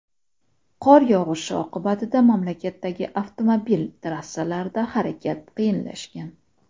Qor yog‘ishi oqibatida mamlakatdagi avtomobil trassalarida harakat qiyinlashgan.